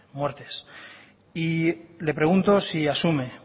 muertes y le pregunto si asume